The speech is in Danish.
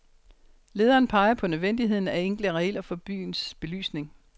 Lederen peger på nødvendigheden af enkle regler for byens belysning.